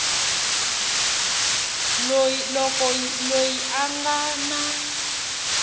loko loyi a nga na